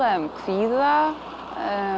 um kvíða